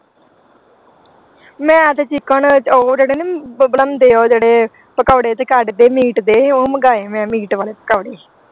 ਮੈਂ ਤੇ chicken ਚ ਉਹ ਜਿਹੜੇ ਨਹੀਂ ਹੁੰਦੇ ਉਹ ਜਿਹੜੇ ਪਕੌੜੇ ਜਿਹੇ ਕੱਢਦੇ meat ਦੇ ਉਹ ਮੰਗਾਏ ਮੈਂ meat ਵਾਲੇ ਪਕੌੜੇ।